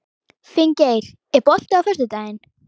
Finngeir, er bolti á föstudaginn?